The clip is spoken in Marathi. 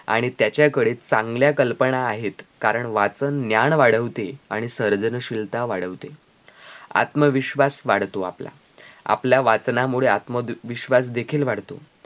आणि त्याच्याकडे चांगल्या कल्पना आहेत कारण वाचन ज्ञान वाढवते आणि सर्जशीलता वाढवते आत्मविश्वास वाढतो आपला आपल्या वाचनामुळे आत्मविश्वास देखील वाढतो